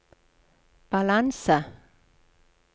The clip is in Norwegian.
balanse